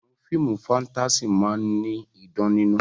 Àwọn fíìmù fáńtásì máa ní idán nínú.